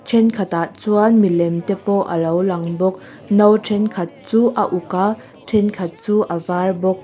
thenkhat ah chuan milem te pawh alo lang bawk no thenkhat chu a uk a thenkhat chu a var bawk.